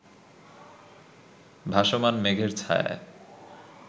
ভাসমান মেঘের ছায়ায়